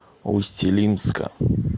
усть илимска